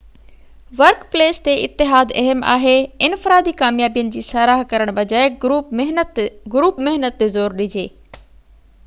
work place تي اتحاد اهم آهي انفرادي ڪاميابين جي ساراهه ڪرڻ بجاءِ گروپ محنت تي زور ڏجي